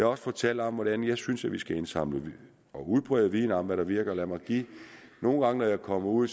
også fortalt om hvordan jeg synes at vi skal indsamle og udbrede viden om hvad der virker nogle gange når jeg kommer ud